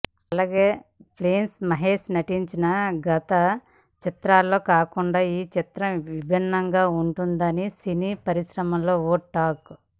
అలాగే ప్రిన్స్ మహేష్ నటించిన గత చిత్రాల్లా కాకుండా ఈ చిత్రం విభిన్నంగా ఉంటుందని సినీ పరిశ్రమలో ఓ టాక్